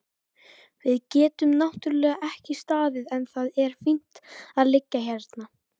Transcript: Við getum náttúrlega ekki staðið en það er fínt að liggja hérna.